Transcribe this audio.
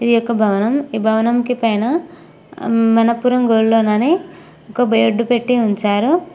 ఒక భవనం ఈ భవనంకి పైన అం మనపురం గోల్డ్ లోన్ అనే ఒక బేర్డు పెట్టి ఉంచారు.